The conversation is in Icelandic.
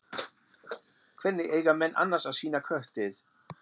Hvernig eiga menn annars að sýna köttið?